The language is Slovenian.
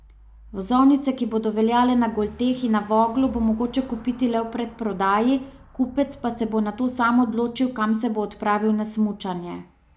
Vozovnice, ki bodo veljale na Golteh in na Voglu, bo mogoče kupiti le v predprodaji, kupec pa se bo nato sam odločil, kam se bo odpravil na smučanje.